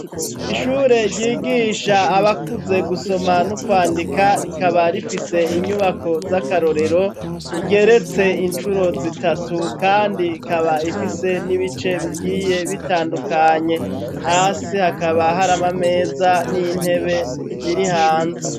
Ishure ryigisha abakuze gusoma no kwandika rikaba rifise inyubako z'akarorero igeretse incuro zitatu kandi ikaba ifise n'ibice bigiye bitandukanye, hasi hakaba hari amameza n'intebe biri hanze.